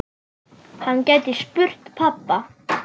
Hann gæti spurt pabba.